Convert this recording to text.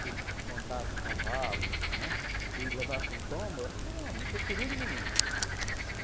Se montasse um cavalo, né, e levasse um tombo, aquilo era nor, não tinha perigo nenhum.